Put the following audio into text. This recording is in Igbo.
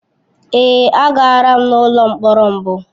Èé, agara m n’ụlọ mkpọrọ mbụ.